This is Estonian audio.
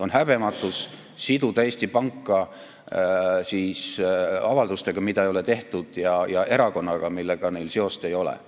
On häbematus siduda Eesti Panka avaldustega, mida ei ole tehtud, ja erakonnaga, millega neil seost ei ole.